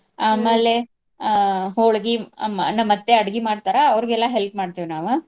ಆಮೇಲೆ ಅ ಹೋಳ್ಗಿ ಮ್~ ನಮ್ ಅತ್ತಿ ಅಡ್ಗಿ ಮಾಡ್ತಾರಾ ಅವ್ರಿಗೆಲ್ಲ help ಮಾಡ್ತಿವ್ ನಾವು.